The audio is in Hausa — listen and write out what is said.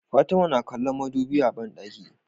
Fatima na kallon mudubi a banɗaki